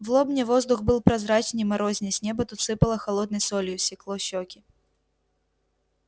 в лобне воздух был прозрачней морозней с неба тут сыпало холодной солью секло щеки